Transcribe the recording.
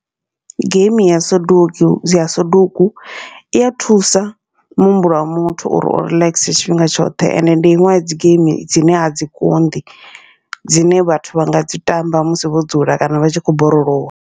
Geimi ya soduku ya soduku iya thusa muhumbulo wa muthu uri u relaxer tshifhinga tshoṱhe, ende ndi iṅwe ya dzi geimi dzine a dzi konḓi dzine vhathu vha ngadzi tamba musi vho dzula kana vha tshi kho borolowa.